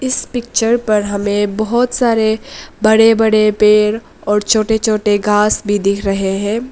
इस पिक्चर पर हमें बहोत सारे बड़े बड़े पेड़ और छोटे छोटे घास भी दिख रहे हैं।